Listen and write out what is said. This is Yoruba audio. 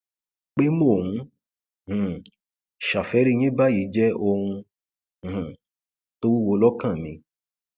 pé mò ń um ṣàfẹrí yín báyìí jẹ ohun um tó wúwo lọkàn mi